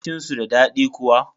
Abincin su da daɗi kuwa?